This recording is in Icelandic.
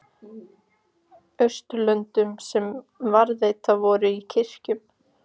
Austurlöndum sem varðveittar voru í kirkjunni.